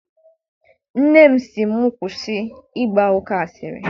Nne m sị m kwụsị ịgba oke asịrị.